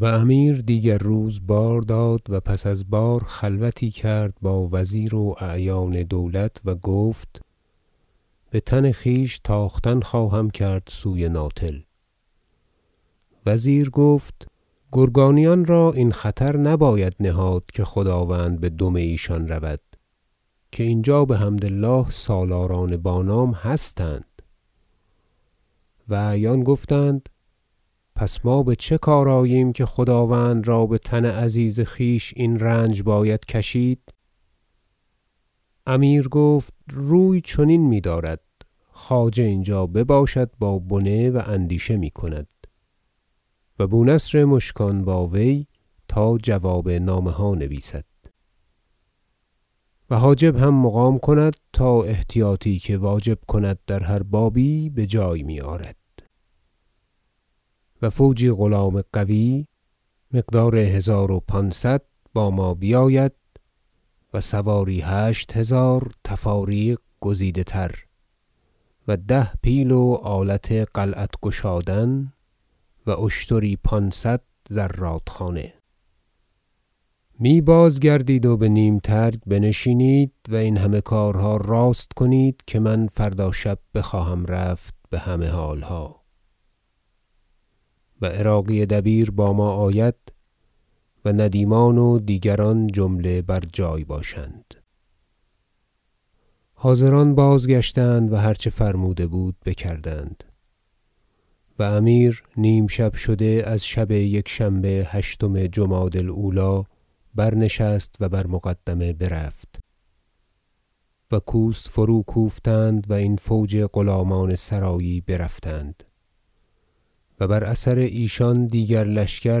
و امیر دیگر روز بار داد و پس از بار خلوتی کرد با وزیر و اعیان دولت و گفت بتن خویش تاختن خواهم کرد سوی ناتل وزیر گفت گرگانیان را این خطر نباید نهاد که خداوند بدم ایشان رود که اینجا بحمد الله سالاران با نام هستند و اعیان گفتند پس ما بچه کار آییم که خداوند را بتن عزیز خویش این رنج باید کشید امیر گفت روی چنین میدارد خواجه اینجا بباشد با بنه و اندیشه میکند و بونصر مشکان با وی تا جواب نامه ها نویسد و حاجب هم مقام کند تا احتیاطی که واجب کند در هر بابی بجای میآرد و فوجی غلام قوی مقدار هزار و پانصد با ما بیاید و سواری هشت هزار تفاریق گزیده تر و ده پیل و آلت قلعت گشادن و اشتری پانصد زرادخانه می بازگردید و به نیم ترگ بنشینید و این همه کارها راست کنید که من فردا شب بخواهم رفت بهمه حالها و عراقی دبیر با ما آید و ندیمان و دیگران جمله بر جای باشند حاضران بازگشتند و هر چه فرموده بود بکردند و امیر نیم شب شده از شب یکشنبه هشتم جمادی الاولی برنشست و بر مقدمه برفت و کوس فروکوفتند و این فوج غلامان سرایی برفتند و بر اثر ایشان دیگر لشکر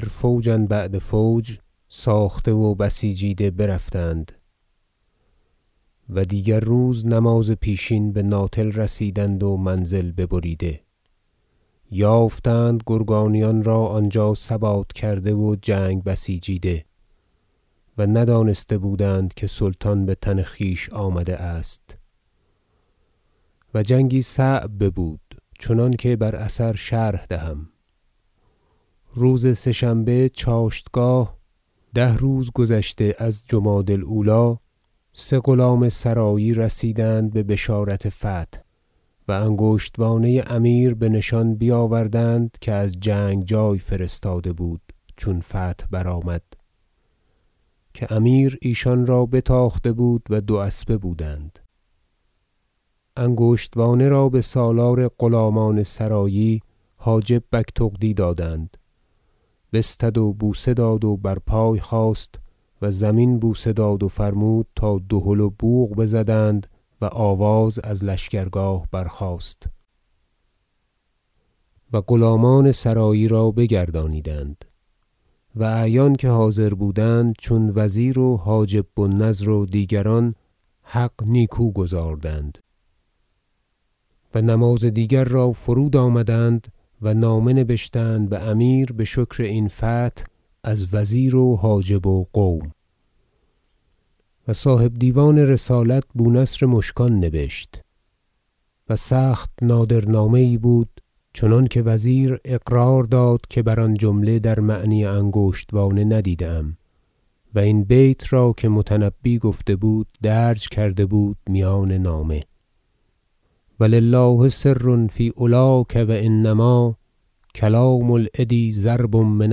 فوجا بعد فوج ساخته و بسیجیده برفتند و دیگر روز نماز پیشین به ناتل رسیدند و منزل ببریده یافتند گرگانیان را آنجا ثبات کرده و جنگ بسیجیده و ندانسته بودند که سلطان بتن خویش آمده است و جنگی صعب ببود چنانکه بر اثر شرح دهم روز سه شنبه چاشتگاه یاز ده روز گذشته از جمادی الاولی سه غلام سرایی رسیدند ببشارت فتح و انگشتوانه امیر بنشان بیاوردند که از جنگ جای فرستاده بود چون فتح برآمد که امیر ایشان را بتاخته بود و دو اسبه بودند انگشتوانه را بسالار غلامان سرایی حاجب بگتغدی دادند بستد و بوسه داد و بر پای خاست و زمین بوسه داد و فرمود تا دهل و بوق بزدند و آواز از لشکرگاه برخاست و غلامان سرایی را بگردانیدند و اعیان که حاضر بودند چون وزیر و حاجب بوالنضر و دیگران حق نیکو گزاردند و نماز دیگر را فرود آمدند و نامه نبشتند بامیر بشکر این فتح از وزیر و حاجب و قوم و صاحب دیوان رسالت بونصر مشکان نبشت- و سخت نادر نامه یی بود چنانکه وزیر اقرار داد که بر آن جمله در معنی انگشتوانه ندیده ام- و این بیت را که متنبی گفته بود درج کرده در میان نامه شعر و لله سر فی علاک و انما کلام العدی ضرب من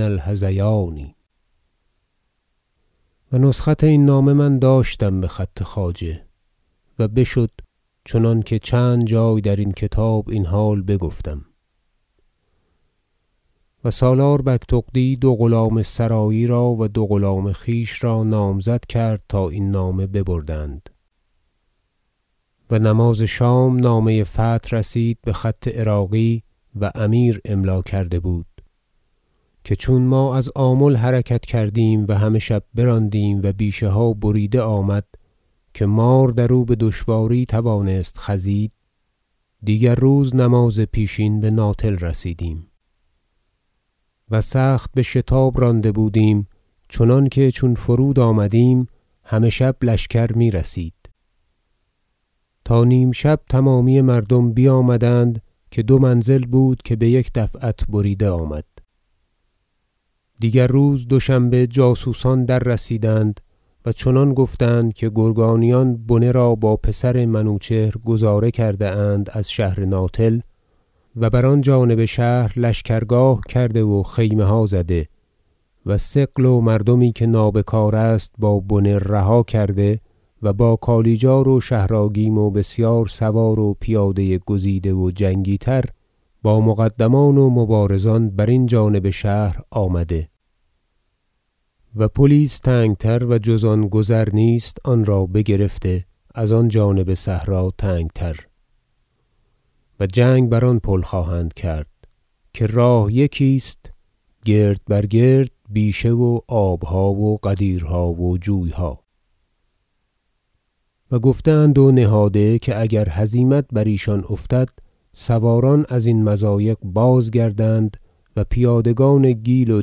الهذیان و نسخت این نامه من داشتم بخط خواجه و بشد چنانکه چند جای درین کتاب این حال بگفتم و سالار بگتغدی دو غلام سرایی را و دو غلام خویش را نامزد کرد تا این نامه ببردند و نماز شام نامه فتح رسید بخط عراقی- و امیر املا کرده بود- که چون ما از آمل حرکت کردیم همه شب براندیم و بیشه ها بریده آمد که مار در او بدشواری توانست خزید دیگر روز نماز پیشین به ناتل رسیدیم و سخت بشتاب رانده بودیم چنانکه چون فرود آمدیم همه شب لشکر میرسید تا نیم شب تمامی مردم بیامدند که دو منزل بود که بیک دفعت بریده آمد دیگر روز دوشنبه جاسوسان دررسیدند و چنان گفتند که گرگانیان بنه را با پسر منوچهر گذارده کرده اند از شهر ناتل و بر آن جانب شهر لشکرگاه کرده و خیمه ها زده و ثقل و مردمی که نابکار است با بنه رها کرده و با کالیجار و شهر آگیم و بسیار سوار و پیاده گزیده و جنگی تر با مقدمان و مبارزان برین جانب شهر آمده و پلی است تنگ تر و جز آن گذر نیست آنرا بگرفته از آن جانب صحرا تنگ تر و جنگ بر آن پل خواهند کرد که راه یکی است گرد بر گرد بیشه و آبها و غدیرها و جویها و گفته اند و نهاده که اگر هزیمت بر ایشان افتد سواران ازین مضایق بازگردند و پیادگان گیل و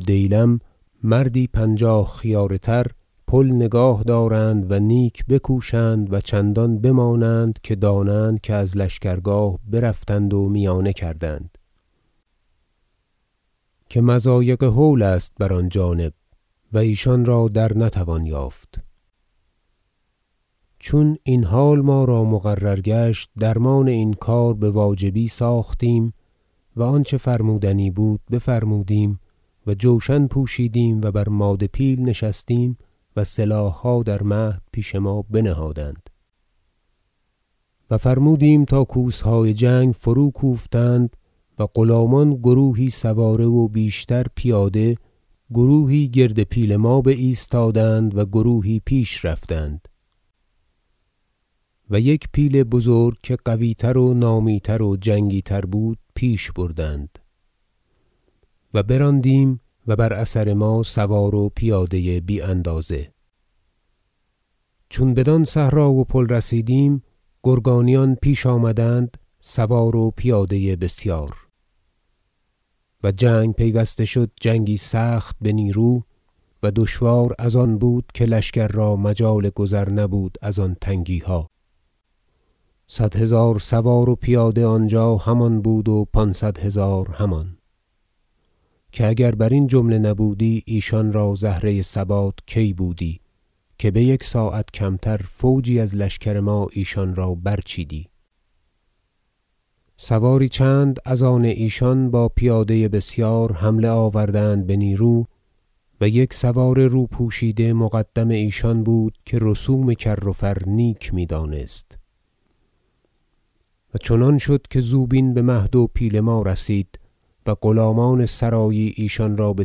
دیلم مردی پنجاه خیاره تر پل نگاه دارند و نیک بکوشند و چندان بمانند که دانند که از لشکرگاه برفتند و میانه کردند که مضایق هول است بر آن جانب و ایشان را درنتوان یافت چون این حال ما را مقرر گشت درمان این کار بواجبی ساختیم و آنچه فرمودنی بود بفرمودیم و جوشن پوشیدیم و بر ماده پیل نشستیم و سلاحها در مهد پیش ما بنهادند و فرمودیم تا کوسهای جنگ فروکوفتند و غلامان گروهی سواره و بیشتر پیاده گروهی گردپیل ما بایستادند و گروهی پیش رفتند و یک پیل بزرگ که قویتر و نامی تر و جنگی تر بود پیش بردند و براندیم و بر اثر ما سوار و پیاده یی بی اندازه چون بدان صحرا و پل رسیدیم گرگانیان پیش آمدند سوار و پیاده بسیار و جنگ پیوسته شد جنگی سخت بنیرو و دشوار از آن بود که لشکر را مجال گذر نبود از آن تنگیها صد هزار سوار و پیاده آنجا همان بود و پانصد هزار همان که اگر برین جمله نبودی ایشان را زهره ثبات کی بودی که بیک ساعت کمتر فوجی از لشکر ما ایشان را برچیدی سواری چند از آن ایشان با پیاده بسیار حمله آوردند بنیرو و یک سوار رو پوشیده مقدم ایشان بود که رسوم کر و فر نیک میدانست و چنان شد که زوبین بمهد و پیل ما رسید و غلامان سرایی ایشان را به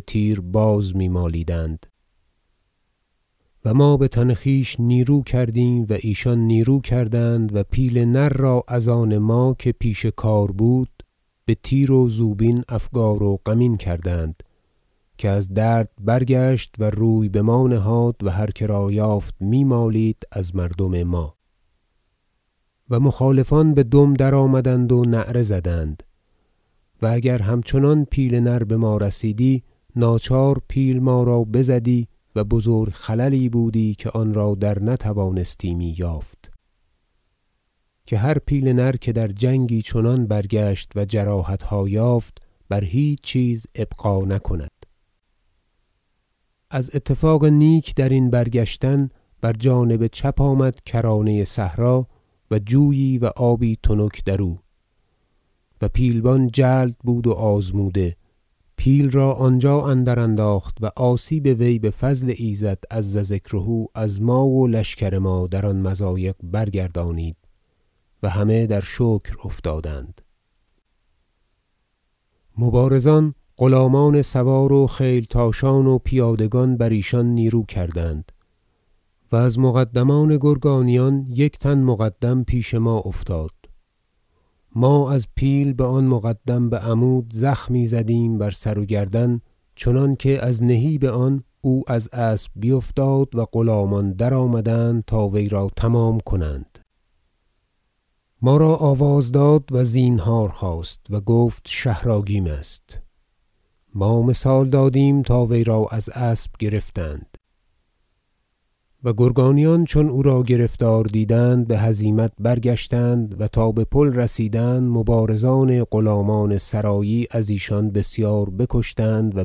تیرباز میمالیدند و ما بتن خویش نیرو کردیم و ایشان نیرو کردند و پیل نر را از آن ما که پیش کار بود به تیر و زوبین افگار و غمین کردند که از درد برگشت و روی بما نهاد و هر کرا یافت میمالید از مردم ما و مخالفان بدم درآمدند و نعره زدند و اگر همچنان پیل نر بما رسیدی ناچار پیل ما را بزدی و بزرگ خللی بودی که آنرا در نتوانستیمی یافت که هر پیل نر که در جنگی چنان برگشت و جراحتها یافت بر هیچ چیز ابقا نکند از اتفاق نیک درین برگشتن بر جانب چپ آمد کرانه صحرا و جویی و آبی تنک درو و پیلبان جلد بود و آزموده پیل را آنجا اندر انداخت و آسیب وی بفضل ایزد عز ذکره از ما و لشکر ما در آن مضایق برگردانید و همه در شکر افتادند مبارزان غلامان سوار و خیلتاشان و پیادگان بر ایشان نیرو کردند و از مقدمان گرگانیان یک تن مقدم پیش ما افتاد ما از پیل بآن مقدم بعمود زخمی زدیم بر سر و گردن چنانکه از نهیب آن او از اسب بیفتاد و غلامان درآمدند تا وی را تمام کنند ما را آواز داد و زینهار خواست و گفت شهر آگیم است ما مثال دادیم تا وی را از اسب گرفتند و گرگانیان چون او را گرفتار دیدند بهزیمت برگشتند و تا به پل رسیدند مبارزان غلامان سرایی از ایشان بسیار بکشتند و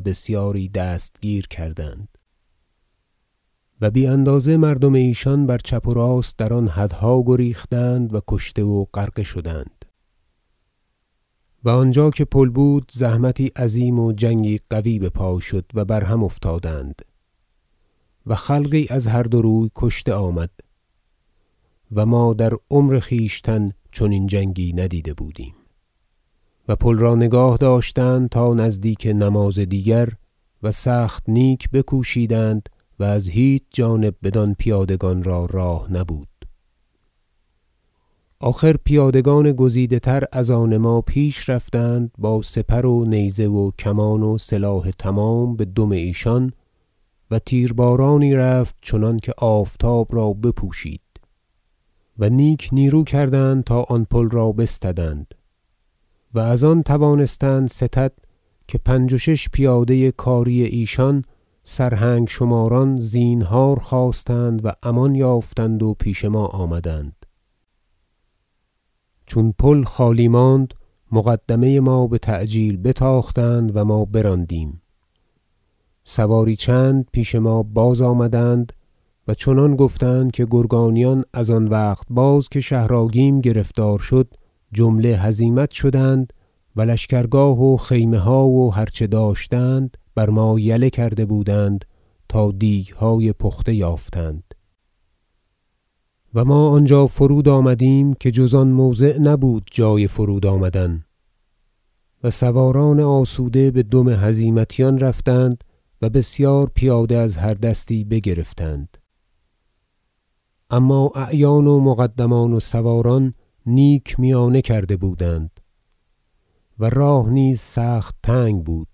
بسیاری دستگیر کردند و بی اندازه مردم ایشان بر چپ و راست در آن حدها گریختند و کشته و غرقه شدند و آنجا که پل بود زحمتی عظیم و جنگی قوی بپای شد و بر هم افتادند و خلقی از هر دو روی کشته آمد و ما در عمر خویشتن چنین جنگی ندیده بودیم و پل را نگاه داشتند تا نزدیک نماز دیگر و سخت نیک بکوشیدند و از هیچ جانب بدان پیادگان را راه نبود آخر پیادگان گزیده تر از آن ما پیش رفتند با سپر و نیزه و کمان و سلاح تمام بدم ایشان و تیربارانی رفت چنانکه آفتاب را بپوشید و نیک نیرو کردند تا آن پل را بستدند و از آن توانستند ستد که پنج و شش پیاده کاری ایشان سرهنگ شماران زینهار خواستند و امان یافتند و پیش ما آمدند چون پل خالی ماند مقدمه ما بتعجیل بتاختند و ما براندیم سواری چند پیش ما بازآمد ند و چنان گفتند که گرگانیان از آن وقت باز که شهر آگیم گرفتار شد جمله هزیمت شدند و لشکر- گاه و خیمه ها و هر چه داشتند بر ما یله کرده بودند تا دیگهای پخته یافتند و ما آنجا فرود آمدیم که جز آن موضع نبود جای فرود آمدن و سواران آسوده به دم هزیمتیان رفتند و بسیار پیاده از هر دستی بگرفتند اما اعیان و مقدمان و سواران نیک میانه کرده بودند و راه نیز سخت تنگ بود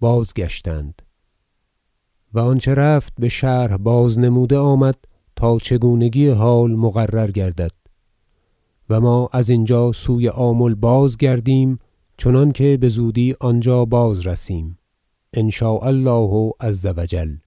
بازگشتند و آنچه رفت بشرح بازنموده آمد تا چگونگی حال مقرر گردد و ما ازینجا سوی آمل بازگردیم چنانکه بزودی آنجا بازرسیم ان شاء الله عز و جل